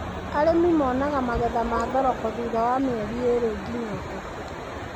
Arĩmi monaga magetha ma thoroko thutha wa mĩeri ĩrĩ nginya ĩtatũ.